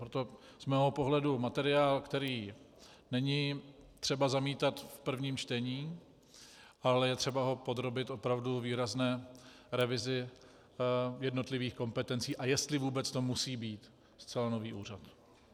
Proto z mého pohledu materiál, který není třeba zamítat v prvním čtení, ale je třeba ho podrobit opravdu výrazné revizi jednotlivých kompetencí, a jestli vůbec to musí být zcela nový úřad.